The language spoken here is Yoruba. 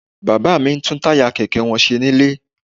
Bàbá mi ń tún táyà kẹ̀kẹ́ wọn ṣe nílé